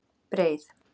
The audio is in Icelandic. Breið